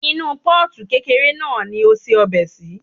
Inú Pọ́ọ̀tù kékeré náà ni a se ọbẹ̀ sí.